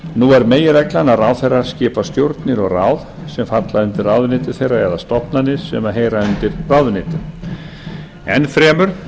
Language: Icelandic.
nú er meginreglan að ráðherrar skipa stjórnir og ráð sem falla undir ráðuneyti þeirra eða stofnanir sem heyra undir ráðuneytið enn fremur